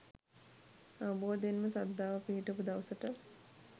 අවබෝධයෙන්ම ශ්‍රද්ධාව පිහිටපු දවසට